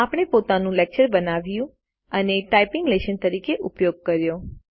આપણે પોતાનું લેકચર બનાવ્યું અને ટાઈપીંગ લેશન તરીકે ઉપયોગ કર્યો છે